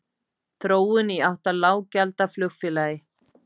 Þróun í átt að lággjaldaflugfélagi?